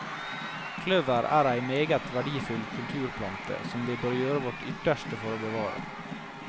Kløver er ei meget verdifull kulturplante, som vi bør gjøre vårt ytterste for å bevare.